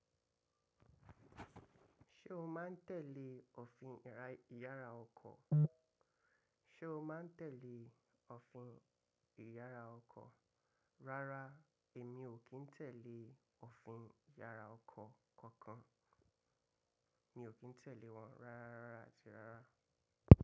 Ṣé o má n tẹ̀lé òfin ìyára ọkọ̀? Ṣé o má n tẹ̀lé òfin ìyára ọkọ̀? Rárá, èmi ò kí n tẹ̀lé òfin ìyára ọkọ̀ kankan. Mi ò kí n tẹ̀lé wọn ráráá àti rárá.